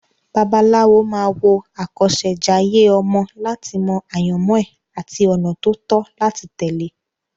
Babaláwo máa wo àkọsẹ̀jayé ọmọ láti mọ àyànmọ́ ẹ̀ àti ọ̀nà tó tọ́ láti tẹ̀lé.